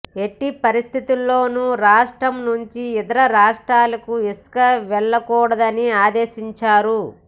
ఎట్టి పరిస్థితుల్లోనూ రాష్ట్రం నుంచి ఇతర రాష్ట్రాలకు ఇసుక వెళ్లకూడదని ఆదేశించారు